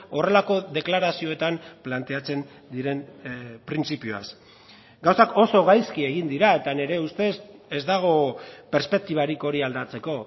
horrelako deklarazioetan planteatzen diren printzipioaz gauzak oso gaizki egin dira eta nire ustez ez dago perspektibarik hori aldatzeko